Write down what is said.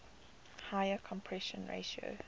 higher compression ratio